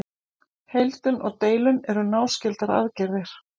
Heildun og deildun eru náskyldar aðgerðir.